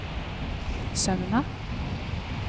Sømna